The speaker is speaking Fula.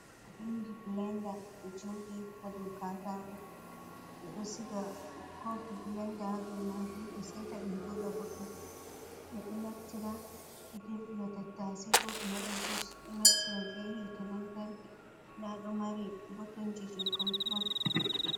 Inji blenda do jodi hado katako be do siga kofi blenda hado majumbe seita dum joda boddum be do naftira be dirbira tattase ko be wada jus do naftira be hite lantarki nda do mari botonji je control.